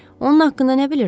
Onun haqqında nə bilirsiz?